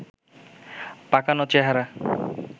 পাকানো চেহারা